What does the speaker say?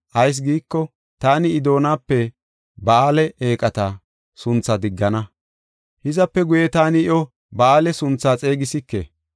Ayis giiko, taani I doonape “Ba7aale” eeqata sunthaa diggana; hizape guye taani iyo “Ba7aale” suntha xeegisike.